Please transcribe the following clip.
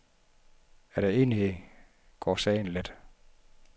Er der enighed går sagen let.